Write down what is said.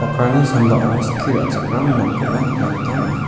sambao skie ra·chakram nokkoba nikna gita man·a.